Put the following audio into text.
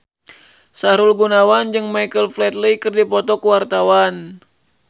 Sahrul Gunawan jeung Michael Flatley keur dipoto ku wartawan